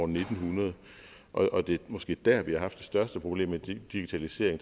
ni hundrede og det er måske dér vi har haft det største problem med digitalisering